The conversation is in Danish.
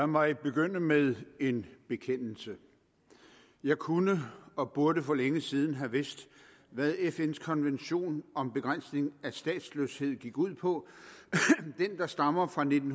mig begynde med en bekendelse jeg kunne og burde for længe siden have vidst hvad fns konvention om begrænsning af statsløshed gik ud på den der stammer fra nitten